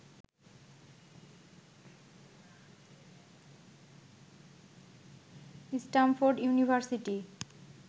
Stamford university